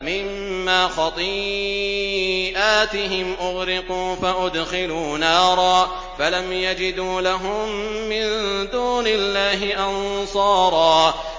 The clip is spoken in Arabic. مِّمَّا خَطِيئَاتِهِمْ أُغْرِقُوا فَأُدْخِلُوا نَارًا فَلَمْ يَجِدُوا لَهُم مِّن دُونِ اللَّهِ أَنصَارًا